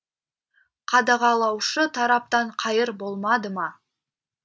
қадағалаушы тараптан қайыр болмады ма